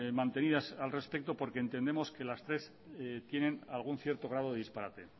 mantenidas al respecto porque entendemos que las tres tienen algún cierto grado de disparate